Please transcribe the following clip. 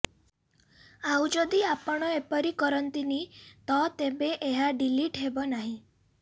ଆଉ ଯଦି ଆପଣ ଏପରି କରନ୍ତିନି ତ ତେବେ ଏହା ଡିଲିଟ୍ ହେବ ନାହିଁ